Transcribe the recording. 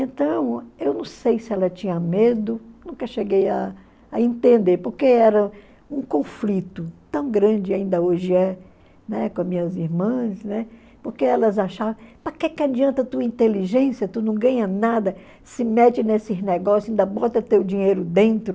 Então, eu não sei se ela tinha medo, nunca cheguei a a entender, porque era um conflito tão grande, ainda hoje é, né, com as minhas irmãs, né, porque elas achavam, para que adianta a tua inteligência, tu não ganha nada, se mete nesses negócios, ainda bota teu dinheiro dentro.